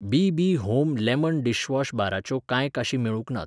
BB. Home lemon dishwash बाराच्यो कांय काशी मेळूंक नात.